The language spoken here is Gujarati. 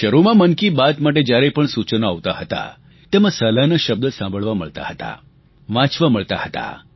શરૂમાં મન કી બાત માટે જ્યારે પણ સૂચનો આવતાં હતાં તેમાં સલાહના શબ્દ સાંભળવા મળતા હતા વાંચવા મળતા હતા